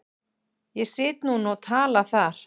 Ég sit núna og tala þar.